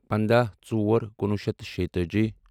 پنٛداہ ژور کُنوُہ شیٚتھ تہٕ شیٚتٲجی